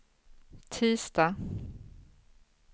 tisdag